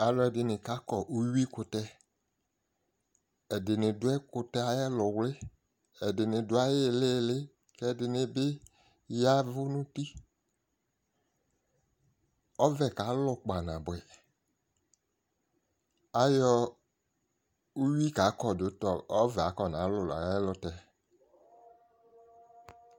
Akʋɛdɩnɩ kakɔ uyui kʋtɛ, ɛdɩnɩ dʋ ɛkʋtɛ yɛ ay'ɛlʋwlɩ, ɛdɩnɩ dʋ ayili iili, k'ɛdɩnɩ bɩ yavʋ n'uti Ɔvɛ kalʋ kpanabʋɛ, ayɔ uyui kakɔ dʋ ta ɔvɛ akɔnalu n'ayɛlʋtɛ